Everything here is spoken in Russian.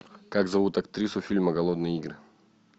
как зовут актрису фильма голодные игры